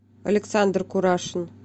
александр курашин